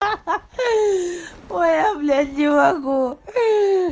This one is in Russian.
ой я блять не могу